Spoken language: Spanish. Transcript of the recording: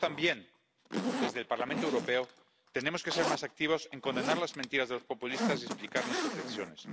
Nosotros también, desde el Parlamento Europeo, tenemos que ser más activos a la hora de condenar las mentiras de los populistas y explicar nuestras decisiones.